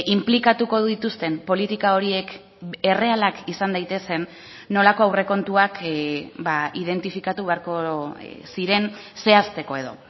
inplikatuko dituzten politika horiek errealak izan daitezen nolako aurrekontuak identifikatu beharko ziren zehazteko edo